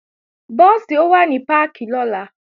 Búùsì ó wà ní páàkì lọ́la